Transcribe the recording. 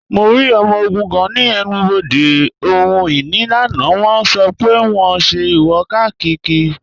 Mọ̀ rí ọmọ ogun̄ kan ni ènù-bodè ohun-inì lánà, wọ̣n sọ́ pẹ̀ wọ̣n n ṣẹ̀ ìwò-kákírí.